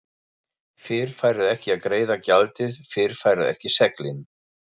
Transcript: Fyrr færðu ekki að greiða gjaldið, fyrr færðu ekki seglin.